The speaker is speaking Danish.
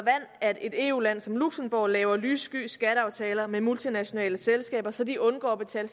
at et eu land som luxembourg laver lyssky skatteaftaler med multinationale selskaber så de undgår at betale